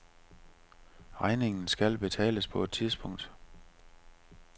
Regningen skal betales på et tidspunkt.